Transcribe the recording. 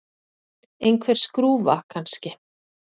Einhver skrúfa, kannski.